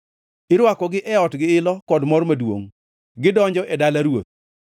Irwakogi e ot gi ilo kod mor maduongʼ; gidonjo e dala ruoth.